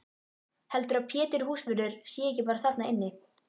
Heldurðu að Pétur húsvörður sé ekki bara þarna inni?